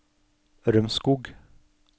Rømskog